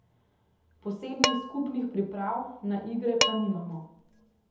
Posebnih skupnih priprav na igre pa nimamo.